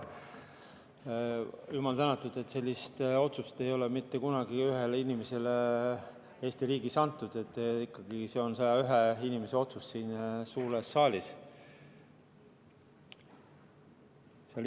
Jumal tänatud, et sellise otsuse tegemist ei ole mitte kunagi Eesti riigis ühele inimesele antud, see on ikkagi 101 inimese otsus siin suures saalis.